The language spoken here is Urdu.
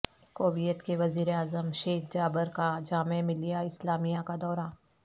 کویت کے وزیر اعظم شیخ جابر کا جامعہ ملیہ اسلامیہ کا دورہ